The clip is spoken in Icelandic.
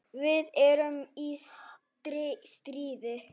Við erum í stríði.